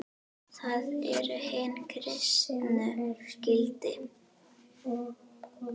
Það eru hin kristnu gildi.